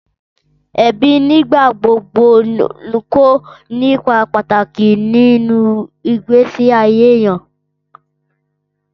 Ẹbí nígbà gbogbo ń kó ipa pàtàkì nínú ìgbésí ayé èèyàn